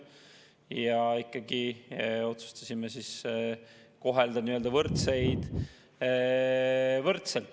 Ja ikkagi, me otsustasime kohelda nii-öelda võrdseid võrdselt.